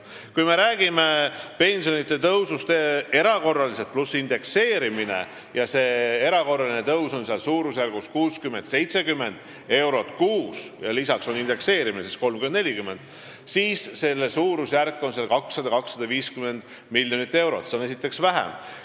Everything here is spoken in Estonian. Kui me räägime erakorralisest pensionitõusust pluss indekseerimisest , siis see suurusjärk on 200–250 miljonit euro, nii et see maksumus on väiksem.